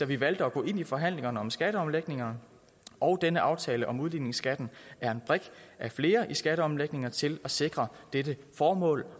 vi valgte at gå ind i forhandlingerne om skatteomlægningerne og denne aftale om udligningsskatten er en brik af flere i skatteomlægningerne til at sikre dette formål